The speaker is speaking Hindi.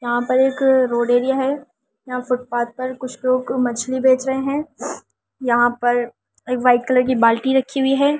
यहां पर एक रोड एरिया है यहां फुटपाथ पर कुछ लोग मछली बेच रहे हैं यहां पर एक वाइट कलर की बाल्टी रखी हुई है।